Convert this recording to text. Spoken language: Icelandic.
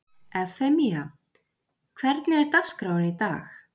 Evfemía, hvernig er dagskráin í dag?